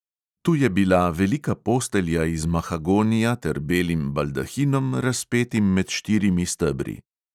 Tu je bila velika postelja iz mahagonija ter belim baldahinom, razpetim med štirimi stebri.